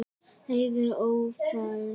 Heiðin ófær?